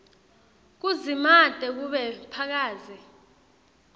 kudzimate kube phakadze